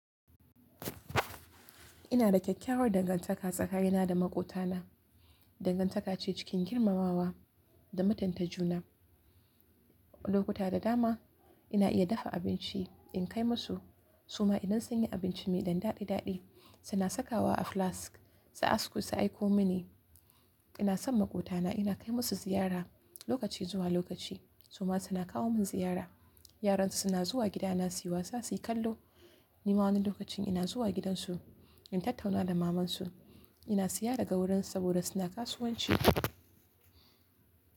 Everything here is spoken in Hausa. Ina da kyakkyawar dangantaka tsakani na da maƙotana. Dangantaka ce cikin girmamawa da mutunta juna. Lokuta da dama ina iya dafa abinci in kai musu, su ma idan sun yi abinci mai ɗan daɗi daɗi suna saka wa a flask su asku su aiko mini. Ina son maƙotana, ina kai musu ziyara lokaci zuwa lokaci su ma suna kawo min ziyara. Yaran su suna zuwa gidana su yi wasa, su yi kallo. Ni ma wani lokacin ina zuwa gidansu in tattauna da mamansu. Ina siya daga wurinsu saboda suna kasuwanci.